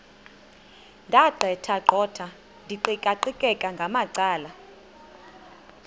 ndaqetheqotha ndiqikaqikeka ngamacala